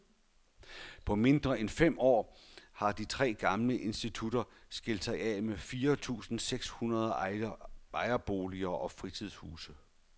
På mindre end fem år har de tre gamle institutter skilt sig af med fire tusinde seks hundrede ejerboliger og fritidshuse.